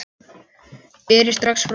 Berið strax fram.